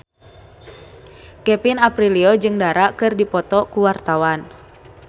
Kevin Aprilio jeung Dara keur dipoto ku wartawan